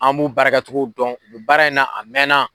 An b'u baarakɛcogo dɔn, u bɛ baara in na a mɛnna.